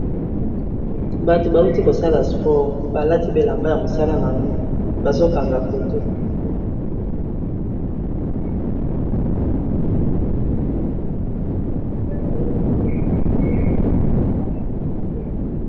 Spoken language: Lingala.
Batu ba wuti ko sala sport. Ba kati bilamba ya musala n'ango. Bazo kanga photo .